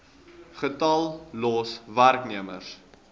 getal los werknemers